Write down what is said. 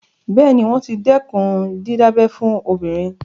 Bẹ́ẹ̀ ni, wọ́n ti dẹ́kun dídábẹ fún obìnrin.